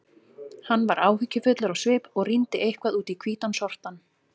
Hann var áhyggjufullur á svip og rýndi eitthvað út í hvítan sortann.